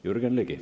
Jürgen Ligi.